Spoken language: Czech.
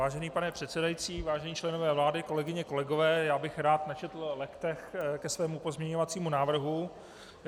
Vážený pane předsedající, vážení členové vlády, kolegyně, kolegové, já bych rád načetl legtech ke svému pozměňovacímu návrhu.